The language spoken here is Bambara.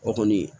O kɔni